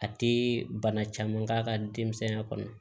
A tɛ bana caman k'a ka denmisɛnya kɔnɔ